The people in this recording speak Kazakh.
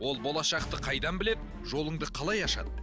ол болашақты қайдан біледі жолыңды қалай ашады